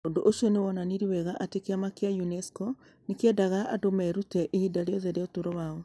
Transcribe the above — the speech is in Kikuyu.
Ũndũ ũcio nĩ wonanirie wega atĩ kĩama kĩa UNESCO nĩ kĩendaga andũ merute ihinda rĩothe rĩa ũtũũro wao.